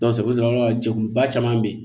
i bɛ sɔrɔ ka jɛkuluba caman be yen